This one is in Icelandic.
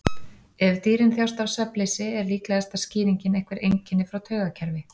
Ef dýrin þjást af svefnleysi er líklegasta skýringin einhver einkenni frá taugakerfi.